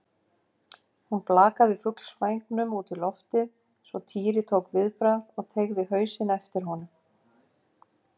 Hún blakaði fuglsvængnum út í loftið svo Týri tók viðbragð og teygði hausinn eftir honum.